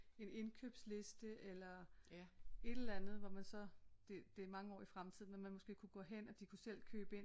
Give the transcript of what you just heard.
En indkøbsliste eller et eller andet hvor man så det det er mange år i fremtiden men man måske kunne gå hen at de kunne selv købe ind